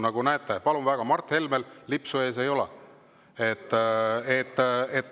Nagu näete, palun väga, ka Mart Helmel lipsu ees ei ole.